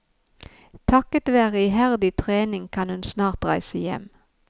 Takket være iherdig trening kan hun snart reise hjem.